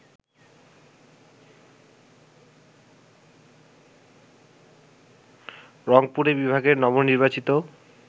রংপুরে বিভাগের নবনির্বাচিত